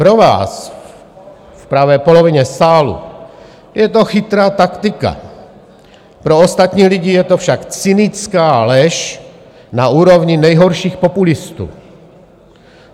Pro vás v pravé polovině sálu je to chytrá taktika, pro ostatní lidi je to však cynická lež na úrovni nejhorších populistů.